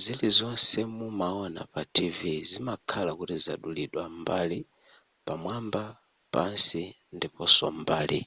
zilizonse mumaona pa tv zimakhala kuti zadulidwa mbali pamwamba pansi ndiponso m'mbali